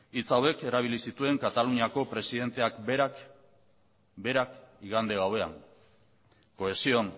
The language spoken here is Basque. hitz hauek erabili zituen kataluniako presidenteak berak igande gauean cohesión